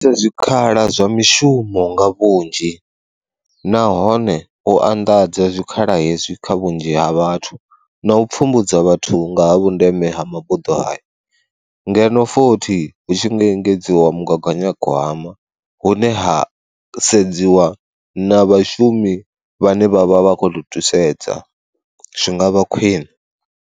Zwikhala zwa mishumo nga vhunzhi nahone u anḓadza zwikhala hezwi kha vhunzhi ha vhathu na u pfhumbudza vhathu nga ha vhundeme ha mabuḓo hayo, ngeno fothi hu tshi nga engedziwa mugaganya gwama hune ha sedziwa na vhashumi vhane vhavha vha khoto thusedza, zwi ngavha khwine.